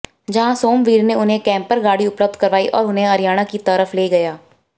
जहां सोमवीर ने उन्हे कैम्पर गाडी उपलब्ध करवाई और उन्हे हरियाणा की तरफ ले गया